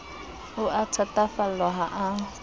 o a thatafallwa ha a